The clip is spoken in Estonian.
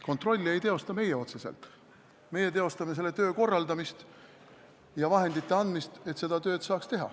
Kontrolli ei tee otseselt meie, meie korraldame seda tööd ja vahendite andmist, et seda tööd saaks teha.